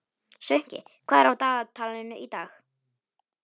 Sveinki, hvað er á dagatalinu í dag?